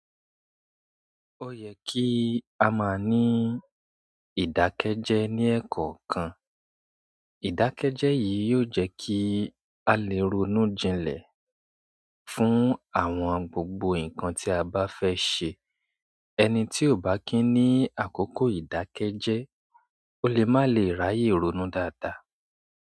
Ó yẹ kí a máa ní ìdákẹ́jẹ́ ní ẹ̀kọ́ kan. Ìdákẹ́jẹ́ yìí yóò jẹ́ kí a lè ronú jinlẹ̀ fún àwọn gbogbo nǹkan tí a bá fẹ́ ṣe. Ẹni tí ò bá kín ní àkókò ìdákẹ́jẹ́, ó lè má lè ráyè ronú dáadáa.